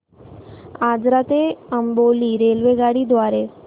आजरा ते अंबोली रेल्वेगाडी द्वारे